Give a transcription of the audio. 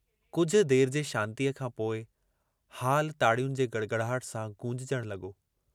कुझ देर जे शांतीअ खां पोइ हालु ताड़ियुनि जे गड़गड़ाहट सां गूंजजण लगो।